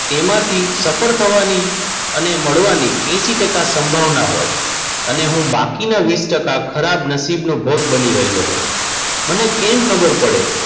એમાંથી સફળ થવાની અને મળવાની એશિ ટકા સંભાવના હોય. અને હું બાકીના વીસ ટકા ખરાબ નસીબ નો ભોગ બની રહ્યો હોવ. મને કેમ ખબર પડે?